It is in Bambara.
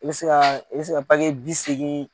I bɛ se i se ka bi seegin.